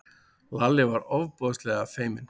Lalli varð ofboðslega feiminn.